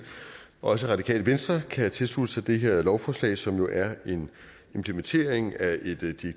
også radikale venstre kan tilslutte sig det her lovforslag som jo er en implementering af et direktiv